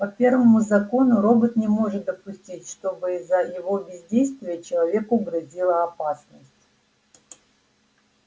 по первому закону робот не может допустить чтобы из-за его бездействия человеку грозила опасность